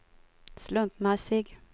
slumpmässig